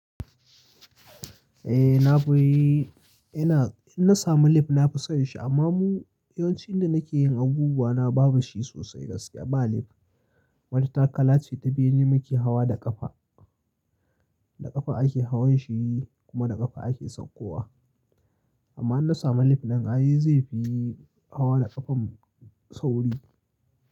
Eh nafiii, ina in na samu lif na fi son shi amma mu yawancin da nake yin abubuwa na babu shi sosai gaskiya ba lif. Mata kala ce ta biyu ne muke hawa da ƙafa, da ƙafa ake hawan shi kuma da ƙafa ake saukowa. Amma in na samu lif din ai zai fi hawa da ƙafan sauri.